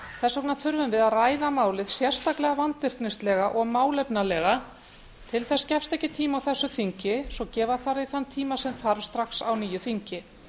þess vegna þurfum við að ræða málið sérstaklega vandvirknislega og málefnalega til þess gefst ekki tími á þessu þingi svo gefa þarf því þann tíma sem þarf strax á nýju þingi